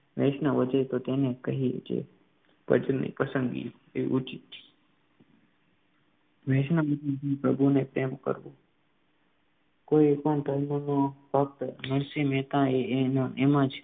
વૈષ્ણવજન તો તેને જ કહીએ જે ભજનની પસંદગી એ ઉચિત છે વૈષ્ણવ પ્રભુને પ્રેમ કરવો કોઈપણ ધર્મનો ભક્ત નરસિંહ મહેતાએ એના એમાં જ